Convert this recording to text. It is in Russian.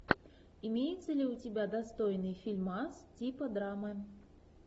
имеется ли у тебя достойный фильмас типа драмы